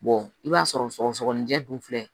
i b'a sɔrɔ sɔgɔsɔgɔninjɛ dun filɛ